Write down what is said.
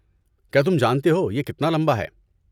کیا تم جانتے ہو یہ کتنا لمبا ہے؟